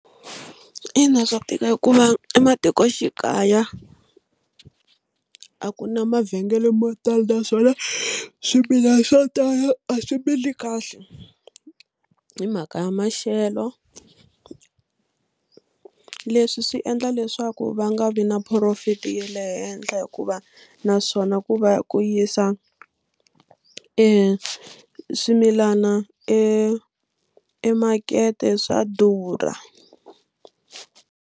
Ina swa tika hikuva ematikoxikaya a ku na mavhengele mo tala naswona swimilana swo tala a swi mili kahle hi mhaka ya maxelo. Leswi swi endla leswaku va nga vi na profit ya le henhla hikuva naswona ku va ku yisa e swimilana e emakete swa durha.